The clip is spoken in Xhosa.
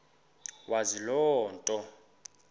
wazi loo nto